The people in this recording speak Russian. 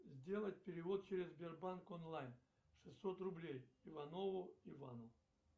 сделать перевод через сбербанк онлайн шестьсот рублей иванову ивану